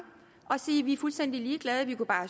og sige vi er fuldstændig ligeglade vi kunne bare